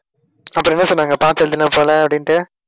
அப்புறம் என்ன சொன்னாங்க? பார்த்து எழுதின போல அப்படின்னுட்டு